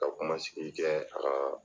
Ka kuma sigi kɛ a ka